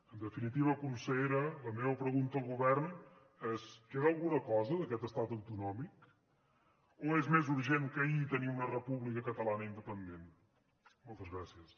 en definitiva consellera la meva pregunta al govern és queda alguna cosa d’aquest estat autonòmic o és més urgent que ahir tenir una república catalana independent moltes gràcies